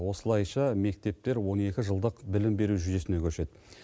осылайша мектептер он екі жылдық білім беру жүйесіне көшеді